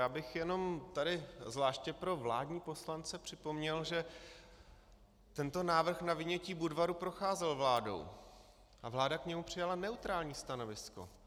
Já bych jenom tady zvláště pro vládní poslance připomněl, že tento návrh na vynětí Budvaru procházel vládou a vláda k němu přijala neutrální stanovisko.